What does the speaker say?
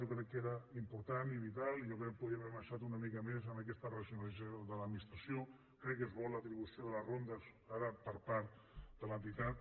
jo crec que era important i vital i jo crec que podríem haver avançat una mica en aquesta racionalització de l’administració crec que és bo l’atribució de les rondes ara per part de l’entitat